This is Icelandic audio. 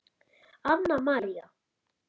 Anna María.